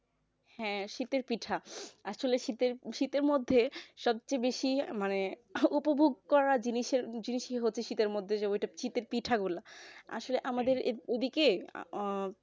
হ্যাঁ শীতের পিঠা আসলে শীতের মধ্যে সবচেয়ে বেশি মানে উপভোগ করা জিনিসই হছে শীতের মধ্যে শীতের পিঠা গুলা আসলে আমাদের এইদিকে উম